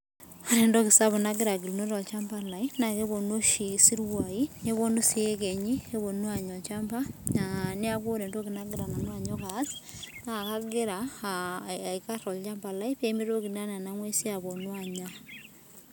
Aata etoki sapuk nagira agira agiluno tolchamba lai. Naa keponu oshi isiruai neponu sii iyekenyi neponu anya olchamba. Neaku ore etoki nagira nanu anyok aas naa, kagira aikar olchamba lai pee mitoki naa nena nguesi aponu anya.